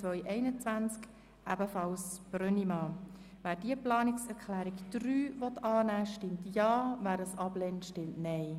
Wer diese Planungserklärung annehmen will, stimmt Ja, wer diese ablehnt, stimmt Nein.